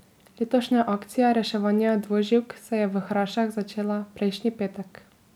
Letošnja akcija reševanja dvoživk se je v Hrašah začela prejšnji petek.